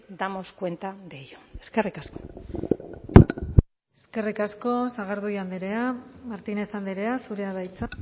damos cuenta de ello eskerrik asko eskerrik asko sagardui andrea martínez andrea zurea da hitza